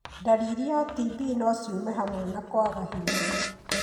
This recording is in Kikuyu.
Ndariri yaa TB no ciume hamwe na kwaga hinya.